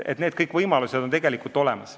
Kõik need võimalused on olemas.